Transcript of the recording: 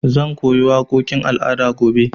Zan koyo waƙoƙin al'ada gobe.